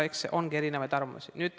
Eks ongi erinevaid arvamusi.